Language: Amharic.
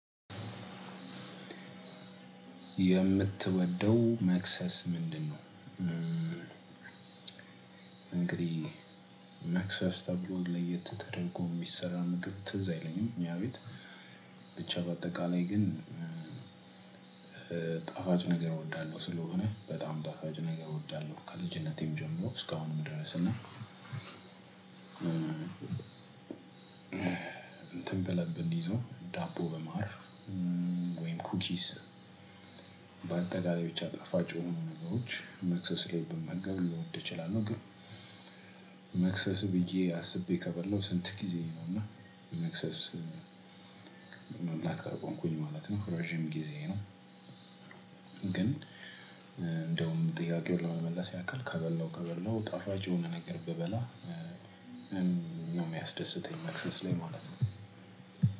የምትወደው መክሰስ ምንድነው? እንግዲህ መክሰስ ተብሎ ለየት ተደርጎ የሚሰራ ምግብ ትዝ አይለኝም። እኛ ቤት ብቻ በአጠቃላይ ግን። ጣፉጭ ነገር እወዳለው ስለሆነ በጣም ጣፋጭ ነገር እወዳለው ከልጅነቴም ጀምሮ አስካሁንም ድረስ እና። እንትን በለብ እንዲይዘው ዳቦ በማር ወይም ኩኪስ። በአጠቃላይ ብቻ ጠፋጭ የሆኑ ነገሮች መክሰስ ላይ ብመገብ ልወድ እችላለው። ግን መክሰስ ብዬ አስቤ ከበላው ስንት ጊዜዬ ነውና መክሰስ መብላት ካቆምኩኝ ማለት ነው ረጅም ጊዜ ነው። ግን እንደውም ጥያቄውን ለመመለስ ያክል ከበላው ከበላው ጣፋጭ የሆነ ነገር ብበላ። ነው የሚያስደስተኝ መክሰስ ላይ ማለት ነው።